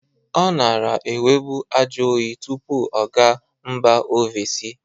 Ọ nara enwebu ajọyị tụpụ ọ ga mba ovesi.